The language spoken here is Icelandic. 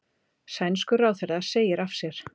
Sænskur ráðherra segir af sér